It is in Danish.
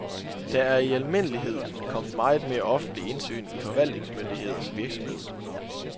Der er i almindelighed kommet meget mere offentligt indsyn i forvaltningsmyndigheders virksomhed.